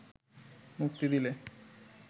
মুক্তি দিলে